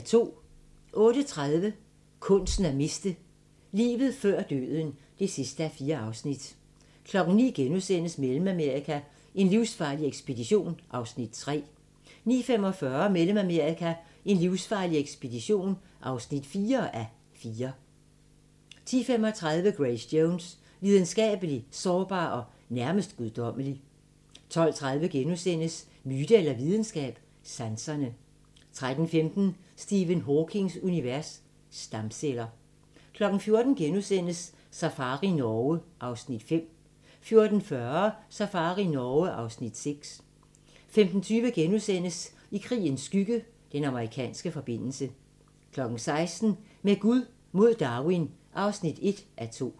08:30: Kunsten at miste: Livet før døden (4:4) 09:00: Mellemamerika: en livsfarlig ekspedition (3:4)* 09:45: Mellemamerika: en livsfarlig ekspedition (4:4) 10:35: Grace Jones – Lidenskabelig, sårbar og nærmest guddommelig 12:30: Myte eller videnskab – sanserne * 13:15: Stephen Hawkings univers: Stamceller 14:00: Safari Norge (Afs. 5)* 14:40: Safari Norge (Afs. 6) 15:20: I krigens skygge – Den amerikanske forbindelse * 16:00: Med Gud mod Darwin (1:2)